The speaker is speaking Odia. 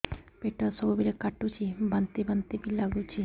ପେଟ ସବୁବେଳେ କାଟୁଚି ବାନ୍ତି ବାନ୍ତି ବି ଲାଗୁଛି